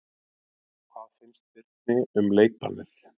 Hvað finnst Birni um leikbannið?